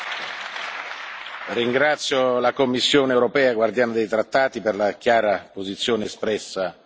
Ringrazio la Commissione europea, custode dei Trattati, per la chiara posizione espressa in quest'Aula.